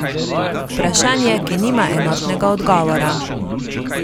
Vprašanje, ki nima enotnega odgovora.